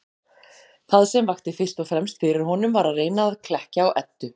Það sem vakti fyrst og fremst fyrir honum var að reyna að klekkja á Eddu.